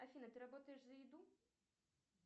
афина ты работаешь за еду